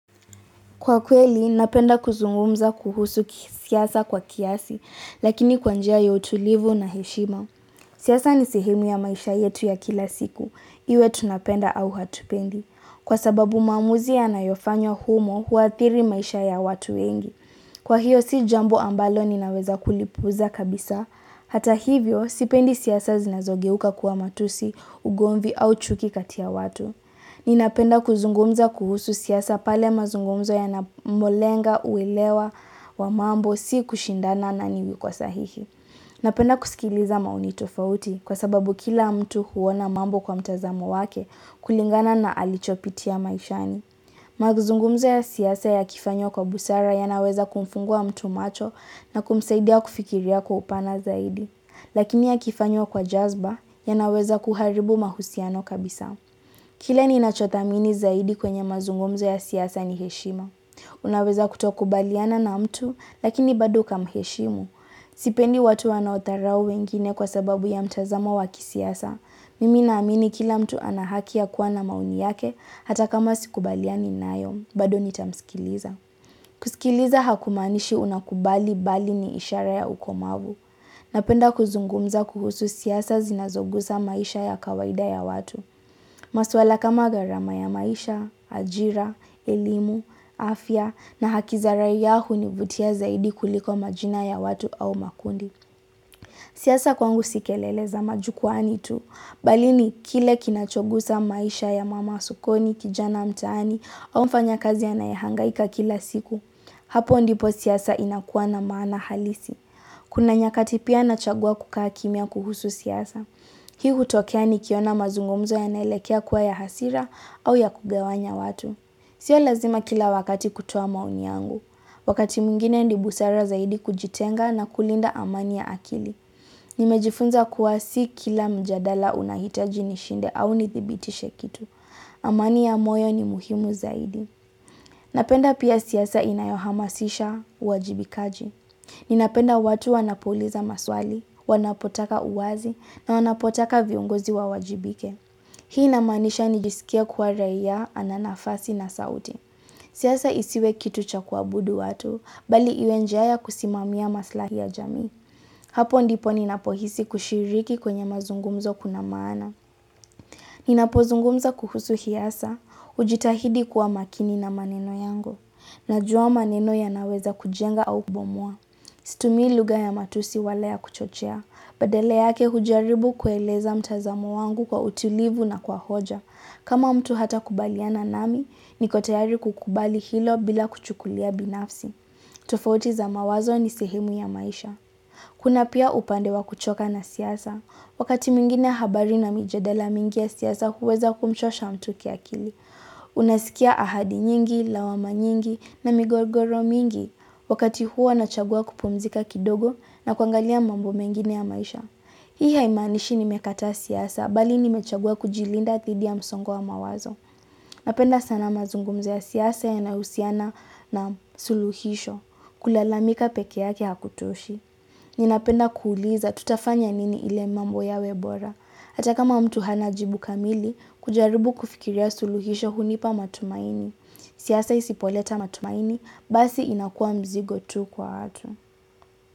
Kwakweli, napenda kuzungumza kuhusu siasa kwa kiasi, lakini kwa njia ya utulivu na heshima. Siasa ni sehemu ya maisha yetu ya kila siku. Iwe tunapenda au hatupendi. Kwasababu maamuzi yanayofanywa humo huathiri maisha ya watu wengi. Kwahiyo, si jambo ambalo ninaweza kulipuuza kabisa. Hata hivyo, sipendi siasa zinazogeuka kuwa matusi, ugomvi au chuki kati ya watu. Ninapenda kuzungumza kuhusu siasa pale mazungumzo yanapolenga uelewa wa mambo si kushindana na watu kwa sahihi. Napenda kusikiliza maoni tofauti kwasababu kila mtu huona mambo kwa mtazamo wake kulingana na alichopitia maishani. Mazungumzo ya siasa yakifanywa kwa busara yanaweza kumfungua mtu macho na kumsaidia kufikiria kwa upana zaidi. Lakini yakifanywa kwa jazba yanaweza kuharibu mahusiano kabisa. Kile ninachothamini zaidi kwenye mazungumzo ya siasa ni heshima. Unaweza kutokubaliana na mtu, lakini bado ukamuheshimu. Sipendi watu wanaodharau wengine kwasababu ya mtazamo wa kisiasa. Mimi naamini kila mtu ana haki ya kuwa na maoni yake, hata kama sikubaliani nayo, bado nitamsikiliza. Kusikiliza hakumaanishi unakubali bali ni ishara ya ukomavu. Napenda kuzungumza kuhusu siasa zinazogusa maisha ya kawaida ya watu. Maswala kama gharama ya maisha, ajira, elimu, afya na haki za raia hunivutia zaidi kuliko majina ya watu au makundi. Siasa kwangu si kelele za majukwaani tu. Bali ni kile kinachogusa maisha ya mama wa sokoni, kijana mtaani, au mfanyakazi anayehangaika kila siku. Hapo ndipo siaasa inakuwa na maana halisi. Kuna nyakati pia nachagua kukaa kimya kuhusu siasa. Hii hutokea nikiona mazungumzo yanaelekea kuwa ya hasira au ya kugawanya watu. Sio lazima kila wakati kutoa maoni yangu. Wakati mingine ni busara zaidi kujitenga na kulinda amani ya akili. Nimejifunza kuwa si kila mjadala unahitaji nishinde au nithibitishe kitu amani ya moyo ni muhimu zaidi Napenda pia siasa inayohamasisha uwajibikaji Ninapenda watu wanapouliza maswali, wanapotaka uwazi na wanapotaka viongozi wawajibike Hii inamaanisha nijisikie kuwa raia ana nafasi na sauti siasa isiwe kitu cha kuabudu watu, bali iwe njia ya kusimamia maslahi ya jamii Hapo ndipo ninapohisi kushiriki kwenye mazungumzo kuna maana. Ninapozungumza kuhusu siasa, hujitahidi kuwa makini na maneno yangu, najua maneno yanaweza kujenga au kubomoa. Situmii lugha ya matusi wala ya kuchochea, badala yake hujaribu kueleza mtazamo wangu kwa utilivu na kwa hoja. Kama mtu hatakubaliana nami, niko tayari kukubali hilo bila kuchukulia binafsi. Tofauti za mawazo ni sehemu ya maisha. Kuna pia upande wa kuchoka na siasa. Wakati mwingine habari na mijadala mengi ya siasa huweza kumchosha mtu kiakili. Unasikia ahadi nyingi, lawama nyingi na migogoro mingi. Wakati huo nachagua kupumzika kidogo na kuangalia mambo mengine ya maisha. Hii haimanishi nimekataa siasa, bali nimechagua kujilinda dhidi ya msongo wa mawazo. Napenda sana mazungumzo ya siasa yanayohusiana na suluhisho. Kulalamika peke yake hakutoshi. Ninapenda kuuliza tutafanya nini ili mambo yawe bora. Hata kama mtu hana jibu kamili, kujaribu kufikiria suluhisho hunipa matumaini. Siasa isipoleta matumaini, basi inakua mzigo tu kwa watu.